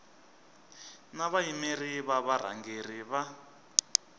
na vayimeri va varhangeri va